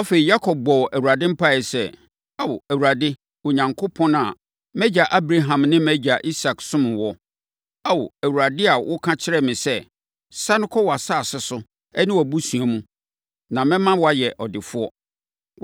Afei, Yakob bɔɔ Awurade mpaeɛ sɛ, “Ao, Awurade Onyankopɔn a mʼagya Abraham ne mʼagya Isak somm wo, Ao, Awurade a woka kyerɛɛ me sɛ, ‘Sane kɔ wʼasase so ne wʼabusua mu, na mɛma woayɛ ɔdefoɔ.’